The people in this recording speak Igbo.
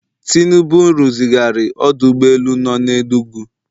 Tinubu rụzigharị ọdụ ụgbọ elu nọ na Enugu